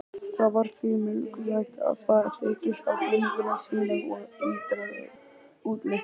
það var því mikilvægt að það þekktist á búningi sínum og ytra útliti